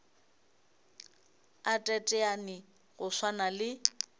a teteane go swana le